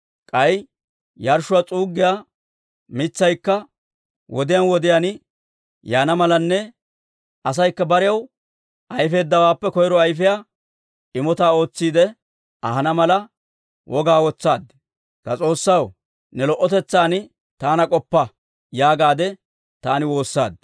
K'ay yarshshuwaa s'uuggiyaa mitsaykka wodiyaan wodiyaan yaana malanne asaykka barew ayfeeddawaappe koyro ayfiyaa imotaa ootsiidde ahana mala, wogaa wotsaaddi. «Ta S'oossaw, ne lo"otetsan taana k'oppa» yaagaade taani woossaaddi.